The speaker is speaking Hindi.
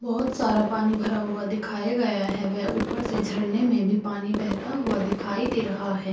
बहुत सारा पानी भरा हुआ दिखाए गया है वे ऊपर से झरने में भी पानी बहता हुआ दिखाई दे रहा है।